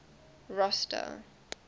rosta